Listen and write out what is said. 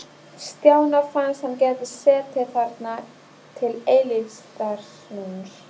Stjána fannst hann geta setið þarna til eilífðarnóns.